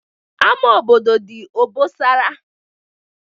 Ama obodo dị obosara